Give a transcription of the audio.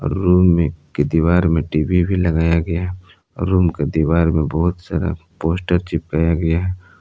Room में की दीवार में टी_वी भी लगाया गया है रूम की दीवार में बहुत सारा पोस्टर चिपकाया गया।